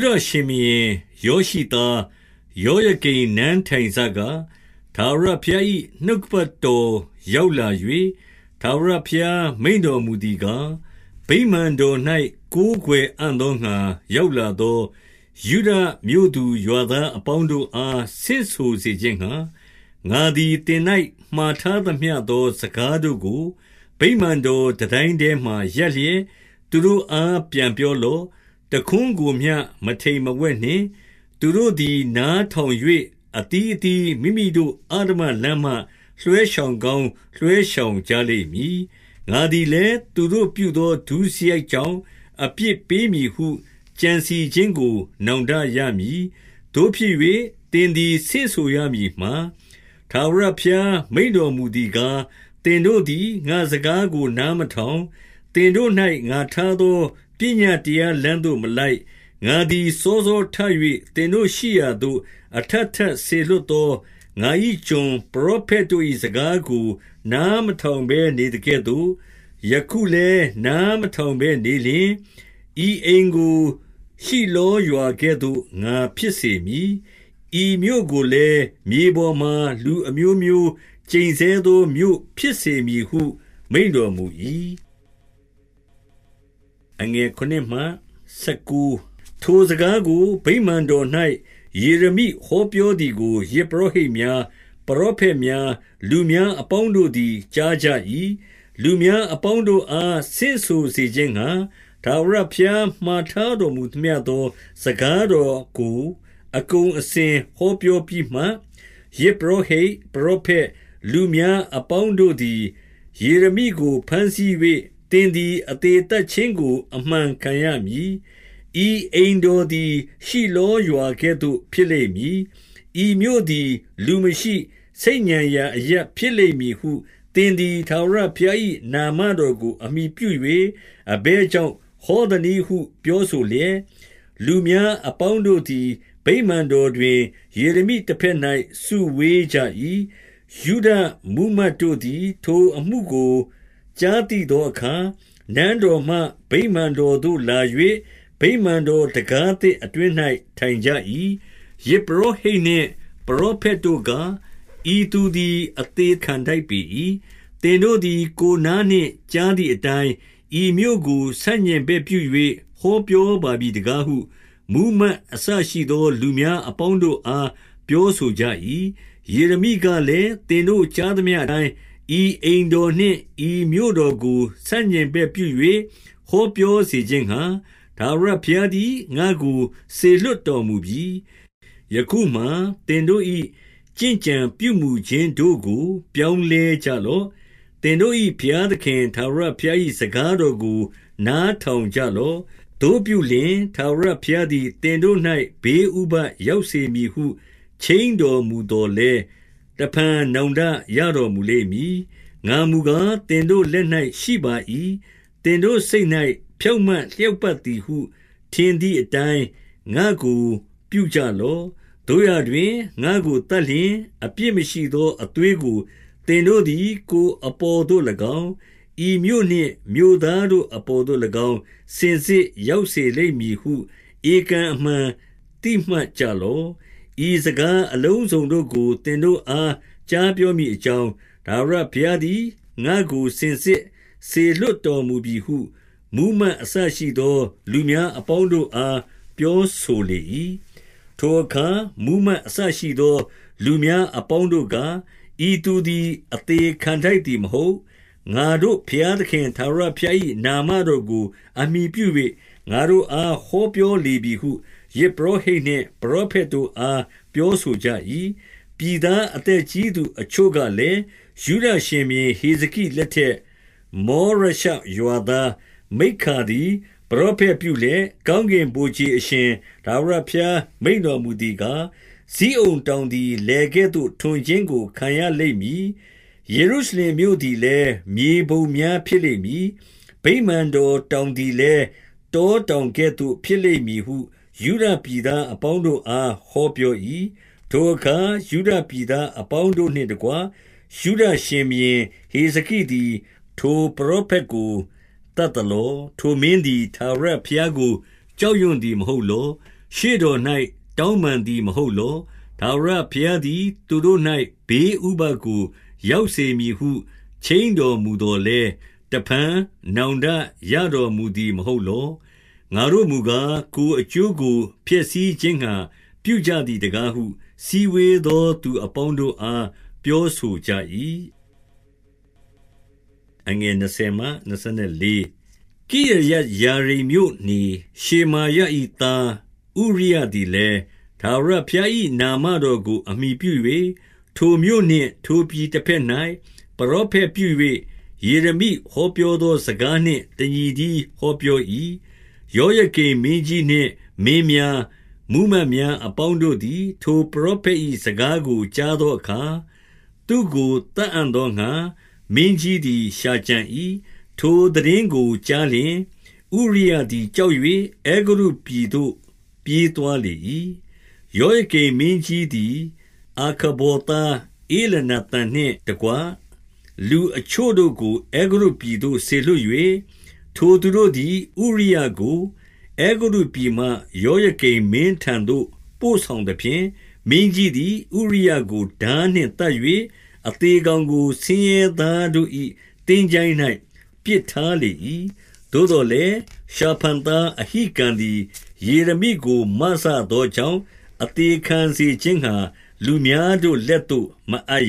ဒရှင်ဘုရင် ယောရှိသား ယောယကိမ်နန်း ထိုင်စ က၊ ထာဝရဘုရား၏ နှုတ်ကပတ်တော်ရောက်လာ ၍၊ 2 ထာဝရဘုရား မိန့်တော်မူသည်ကား၊ ဗိမာန် တော်၌ ကိုးကွယ်အံ့သောငှါ ရောက်လာသော ယုဒမြို့သူ ရွာသားအပေါင်းတို့အား ဆင့်ဆိုစေခြင်းငှါ၊ ငါသည်သင်၌ မှားထားသမျှသော စကားတို့ကို ဗိမာန်တော် တန်တိုင်း ထဲမှာရပ်လျက်၊ သူတို့အားပြန်ပြောလော့။ တခွန်းကိုမျှ မထိမ်မဝှက်နှင့်။ 3 သူတို့သည် နားထောင်၍၊ အသီးအသီးမိမိတို့ အဓမ္မလမ်းမှ လွှဲရှောင်ကောင်း လွှဲရှောင်ကြလိမ့်မည်။ ငါသည်လည်း သူတို့ပြုသော ဒုစရိုက်ကြောင့် အပြစ်ပေး မည်ဟု ကြံစည်ခြင်းကို နောင်တရမည်။ 4 သို့ဖြစ်၍၊ သင်သည် ဆင့်ဆိုရမည်မှာ၊ ထာဝရ ဘုရားမိန့်တော်မူသည်ကား၊ သင်တို့သည် ငါ့စကားကို နားမထောင်၊ သင်တို့၌ ငါထားသော ပညတ်တရားလမ်း သို့ မလိုက်၊ 5 ငါသည် စောစောထ၍ သင်တို့ရှိရာသို့ အထပ် ထပ်စေလွှတ်သော ငါ၏ကျွန် ပရောဖက်တို့၏ စကားကို နားမထောင်ဘဲနေသကဲ့သို့၊ ယခုလည်း နားမထောင်ဘဲ နေလျှင်၊ 6 ဤအိမ်ကို ရှိလောရွာကဲ့သို့ ငါဖြစ်စေမည်။ ဤမြို့ကိုလည်း၊ မြေပေါ်မှာ လူအမျိုးမျိုး ကျိန်ဆဲသော မြို့ဖြစ်စေမည်ဟု မိန့်တော်မူ၏။ 7 ထိုစကားကို ဗိမာန်တော်၌ ယေရမိ ဟောပြော သည်ကို ယဇ်ပုရောဟိတ်များ၊ ပရောဖက်များ၊ လူများ အပေါင်းတို့သည် ကြားကြ၏။ 8 လူများအပေါင်းတို့အား ဆင့်ဆိုစေခြင်းငှါ၊ ထာဝရဘုရား မှာထားတော်မူသမျှသော စကားတော်ကို အကုန်အစင် ဟောပြောပြီးမှ၊ ယဇ်ပုရောဟိတ်၊ ပရော ဖက်၊ လူများအပေါင်းတို့သည် ယေရမိကို ဘမ်းဆီး၍၊ သင်သည် အသေသတ်ခြင်းကို အမှန်ခံရမည်။ 9 ဤအိမ်တော်သည် ရှိလောရွာကဲ့သို့ ဖြစ်လိမ့် မည်။ ဤမြို့သည် လူမရှိ၊ ဆိတ်ညံရာအရပ်ဖြစ်လိမ့်မည် ဟု သင်သည် ထာဝရဘုရား၏နာမတော်ကို အမှီပြု၍ အဘယ်ကြောင့် ဟောသနည်းဟုပြောဆိုလျက်၊ လူများ အပေါင်းတို့သည် ဗိမာန်တော်တွင် ယေရမိတဘက်၌ စုဝေးကြ၏။ 10 ယုဒမှူးမတ်တို့သည် ထိုအမှုကို ကြားသိသော အခါ၊ နန်းတော်မှ ဗိမာန်တော်သို့လာ၍၊ ဗိမာန်တော် တံခါးသစ်အတွင်း၌ ထိုင်ကြ၏။ 11 ယဇ်ပုရောဟိတ်နှင့် ပရောဖက်တို့က၊ ဤသူ သည် အသေခံထိုက်ပေ၏။ သင်တို့သည် ကိုယ်နားနှင့် ကြားသည်အတိုင်း၊ ဤမြို့ကို ဆန့်ကျင်ဘက်ပြု၍ ဟောပြောပါပြီတကားဟု မှူးမတ်အစရှိသော လူများ အပေါင်းတို့အား ပြောဆိုကြ၏။ 12 ယေရမိကလည်း၊ သင်တို့ကြားသမျှအတိုင်း၊ ဤအိမ်တော်နှင့် ဤမြို့တော်ကို ဆန့်ကျင်ဘက်ပြု၍ ဟောပြောစေခြင်းငှါ၊ ထာဝရဘုရားသည် ငါ့ကို စေလွှတ် တော်မူပြီ။ 13 ယခုမှာသင်တို့၏ ကျင့်ကြံပြုမူခြင်းတို့ကို ပြောင်း လဲကြလော့။ သင်တို့၏ ဘုရားသခင် ထာဝရဘုရား၏ စကားတော်ကို နားထောင်ကြလော့။ သို့ပြုလျှင်၊ ထာဝရ ဘုရားသည် သင်တို့၌ ဘေးဥပဒ်ရောက်စေမည်ဟု ခြိမ်းတော်မူသော်လည်း၊ တဖန် နောင်တရတော်မူလိမ့် မည်။ 14 ငါမူကား၊ သင်တို့လက်၌ရှိပါ၏။ သင်တို့စိတ်၌ ဖြောင့်မတ်လျောက်ပတ်သည်ဟု ထင်သည်အတိုင်း၊ ငါ့ကို ပြုကြလော့။ 15 သို့ရာတွင်၊ ငါ့ကို သတ်လျှင်အပြစ်မရှိသော အသွေးကို သင်တို့သည် ကိုယ်အပေါ်သို့၎င်း၊ ဤမြို့နှင့် မြို့သားတို့အပေါ်သို့၎င်း၊ စင်စစ်ရောက်စေလိမ့်မည်ဟု ဧကန်အမှန် သိမှတ်ကြလော့။ ဤစကား အလုံးစုံတို့ကို သင်တို့အား ကြားပြောမည်အကြောင်း၊ ထာဝရဘုရား သည် ငါ့ကို စင်စစ်စေလွှတ်တော်မူပြီဟု မှူးမတ်အစ ရှိသော လူများအပေါင်းတို့အား ပြောဆိုလေ၏။ 16 ထိုအခါမှူးမတ်အစရှိသော လူများအပေါင်းတို့ က၊ ဤသူသည် အသေခံထိုက်သည်မဟုတ်။ ငါတို့ဘုရား သခင် ထာဝရဘုရား၏ နာမတော်ကို အမှီပြု၍၊ ငါတို့ အား ဟောပြောလေပြီဟု ယဇ်ပုရောဟိတ်နှင့် ပရောဖက် တို့အား ပြောဆိုကြ၏။ 17 ပြည်သားအသက်ကြီးသူ အချို့ကလည်း၊ 18 ယုဒရှင်ဘုရင် ဟေဇကိလက်ထက်၊ မေရရှရွာ သားမိက္ခာသည် ပရောဖက်ပြုလျက်၊ ကောင်းကင်ဗိုလ်ခြေ အရှင် ထာဝရဘုရား မိန့်တော်မူသည်ကား၊ ဇိအုန် တောင်သည် လယ်ကဲ့သို့ ထွန်ခြင်းကို ခံရလိမ့်မည်။ ယေရုရှလင်မြို့သည်လည်း၊ မြေပုံများဖြစ်လိမ့်မည်။ ဗိမာန်တော်တောင်သည်လည်း၊ တောတောင်ကဲ့သို့ ဖြစ် လိမ့်မည်ဟု ယုဒပြည်သားအပေါင်းတို့အား ဟောပြော၏။ 19 ထိုအခါ ယုဒပြည်သားအပေါင်းတို့နှင့်တကွ၊ ယုဒရှင်ဘုရင် ဟေဇကိသည် ထိုပရောဖက်ကို သတ် သလော။ ထိုမင်းသည် ထာဝရဘုရားကို ကြောက်ရွံသည် မဟုတ်လော။ ရှေ့တော်၌ တောင်းပန်သည် မဟုတ်လော။ ထာဝရဘုရားသည် သူတို့၌ ဘေးဥပဒ်ကို ရောက်စေမည် ဟု ခြိမ်းတော်မူသော်လည်း၊ တဖန်နောင်တရတော်မူ သည် မဟုတ်လော။ ငါတို့မူကား၊ ကိုယ်အကျိုးကို ဖျက်ဆီး ခြင်းငှါ ပြုကြသည်တကားဟု စည်းဝေးသောသူ အပေါင်း တို့အား ပြောဆိုကြ၏။ 20 ကိရယတ်ယာရိမ်မြို့နေ၊ ရှေမာယ၏သား ဥရိယသည်လည်း၊ ထာဝရဘုရား၏ နာမတော်ကို အမှီ ပြု၍၊ ထိုမြို့နှင့် ထိုပြည်တဘက်၌ ပရောဖက်ပြု၍၊ ယေရမိ ဟောပြောသောစကားနှင့် တညီတည်းဟောပြော၏။ 21 ယောယကိမ် မင်းကြီးနှင့် မင်းများ၊ မှူးမတ်များ အပေါင်းတို့သည် ထိုပရောဖက်၏ စကားကို ကြားသော အခါ၊ သူ့ကို သတ်အံ့သောငှါ မင်းကြီးသည် ရှာကြံ၏။ ထိုသိတင်းကိုကြားလျှင်၊ ဥရိယသည်ကြောက်၍၊ အဲဂုတ္တု ပြည်သို့ ပြေးသွားလေ၏။ 22 ယောယကိမ်မင်းကြီးသည် အာခဗော်သား ဧလနာသန်နှင့်တကွ လူအချို့တို့ကို အဲဂုတ္တုပြည်သို့ စေလွှတ်၍၊ 23 ထိုသူတို့သည် ဥရိယကို အဲဂုတ္တုပြည်မှ ယောယ ကိမ်မင်းထံသို့ ပို့ဆောင်သဖြင့်၊ မင်းကြီးသည် ဥရိယကို ထားနှင့် သတ်၍၊ အသေကောင်ကို ဆင်းရဲသားတို့၏ သင်္ချိုင်း၌ ပစ်ထားလေ၏။ 24 သို့သော်လည်း၊ ရှာဖန်သားအဟိကံသည် ယေရမိကို မစသောကြောင့်၊ အသေခံစေခြင်းငှါ လူများ တို့ လက်သို့မအပ်